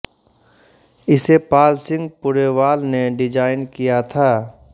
इसे पाल सिंह पुरेवाल ने डिजाइन किया था